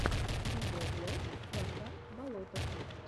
видеоблог вартан болотов